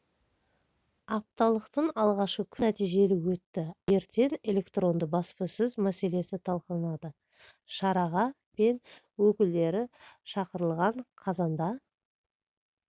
апталықтың алғашқы күні нәтижелі өтті ал ертең электронды баспасөз мәселесі талқыланады шараға пен өкілдері шақырылған қазанда